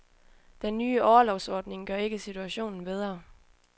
Den nye orlovsordninger gør ikke situationen bedre.